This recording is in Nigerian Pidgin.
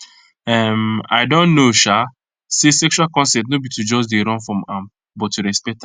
um i don know um say sexual consent no be to just dey run from am but to respect am